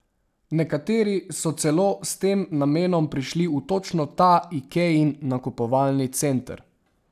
Nekateri so celo s tem namenom prišli v točno ta Ikejin nakupovalni center.